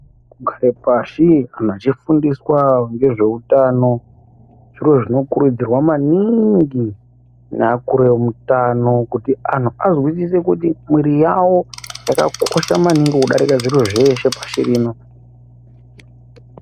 Kugare pashi anhu achifundiswa ngezveutano zviro zvinokurudzirwa maningi ngeakuru eutano kuti anhu azwisise kuti mwiri yawo yakakosha maningi kudairike zviro zveshe pashi rino.